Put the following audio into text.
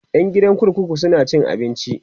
ƴan gidan kurkuku suna cin abinci